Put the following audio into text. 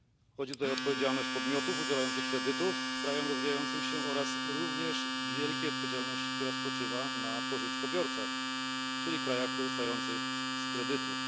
Chodzi tutaj o odpowiedzialność podmiotów udzielających kredytów krajom rozwijającym się, jak również wielką odpowiedzialność, która spoczywa na pożyczkobiorcach, czyli krajach korzystających z kredytów.